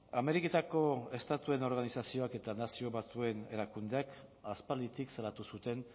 ameriketako estatuen organizazioak eta nazio batuen erakundeak aspalditik salatu zuten